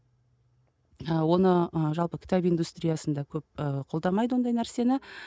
ыыы оны ы жалпы кітап индустриясында көп ы қолдамайды ондай нәрсені